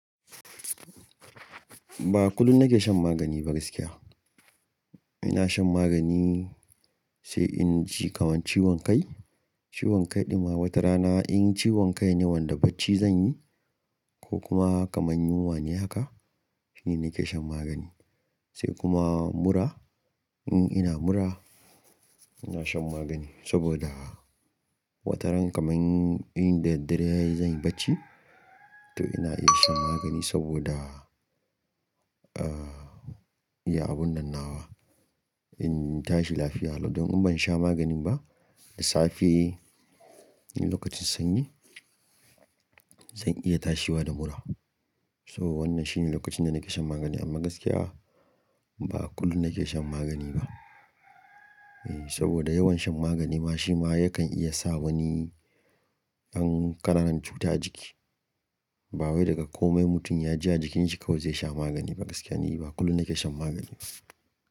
Ba kullum nake shan magani ba gaskiya. Ina shan magani sai in ji kamar ciwon kai. Ciwon kai ɗin ma wata rana in ciwon kai ne wanda bacci zan yi ko kuma kamar yunwa ne haka shine nake shan magani. Sai kuma mura in ina mura ina shan magani saboda wata ran kamar in da daddare zan yi bacci to ina iya shan magani saboda, ah, iya abun dannawa. In tashi lafiya Allah don in ban sha maganin ba da safe lokacin sanyi zan iya tashiwa da mura. So wannan shine lokacin da nake shan magani amma gaskiya ba kullum nake shan magani ba. Eh, saboda yawan shan magani ma shi ma yakan iya sa wani ƴan ƙananan cuta a jiki. Ba wai daga komai mutum ya ji a jikinsa kawai zai sha magani ba gaskiya ne ba kullum nake shan magani.